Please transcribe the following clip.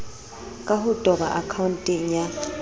ka ho toba akhaonteng ya